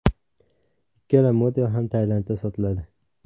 Ikkala model ham Tailandda sotiladi.